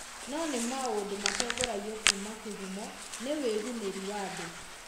No nĩ maũndũ matongoragio kuuma kĩhumo nĩ wĩgunĩri wa andũ.